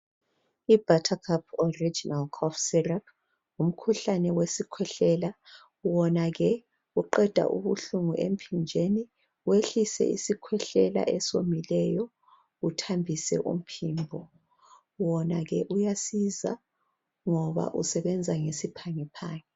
Buttercup syrup ngumkhuhlane wesikhwehlela wona uqeda ubuhlungu uthatha isivalo uthambise umphimbo wona uyasiza usebenza ngesiphangiphangi.